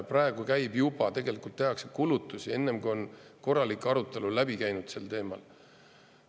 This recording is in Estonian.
Praegu juba tehakse kulutusi, enne, kui on korralik arutelu läbi käinud sel teemal.